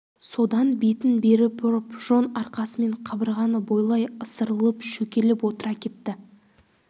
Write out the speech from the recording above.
содан бетін бері бұрып жон арқасымен қабырғаны бойлай ысырылып шөкелеп отыра кетті